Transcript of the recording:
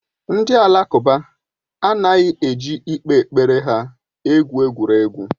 Ndị Alakụba anaghị eji ikpe kpere ha egwu egwuregwu.